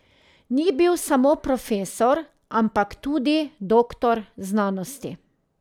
Ni bil samo profesor, ampak tudi doktor znanosti.